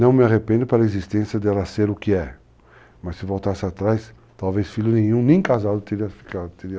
Não me arrependo para a existência dela ser o que é. Mas se voltasse atrás, talvez filho nenhum, nem casado, teria ficado.